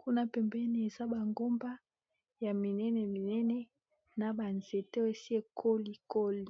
kuna pempeni eza bangomba ya minene minene na banzeto esi ekolikoli